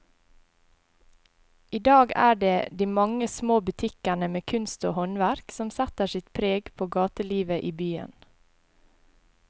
I dag er det de mange små butikkene med kunst og håndverk som setter sitt preg på gatelivet i byen.